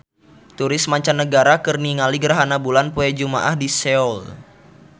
Turis mancanagara keur ningali gerhana bulan poe Jumaah di Seoul